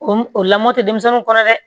O o lamɔ tɛ denmisɛnninw kɔrɔ dɛ